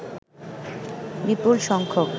বিপুল সংখ্যক